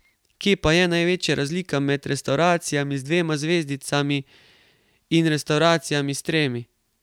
Kje pa je največja razlika med restavracijami z dvema zvezdicami in restavracijami s tremi?